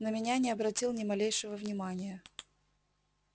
на меня не обратил ни малейшего внимания